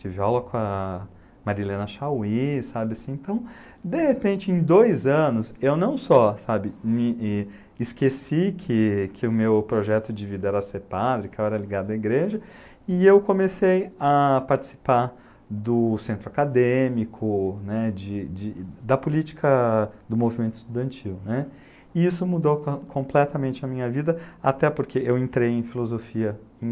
tive aula com a Marilena Chaui, sabe assim, então de repente em dois anos eu não só esqueci que o meu projeto de vida era ser padre, que eu era ligado à igreja, e eu comecei a participar do centro acadêmico, da política do movimento estudantil, e isso mudou completamente a minha vida, até porque eu entrei em filosofia em